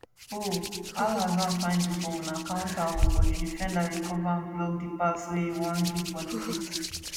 ohhhhhhh alhassan find di ball na counter oooo but di defender recova and block di pass wey e wan give boniface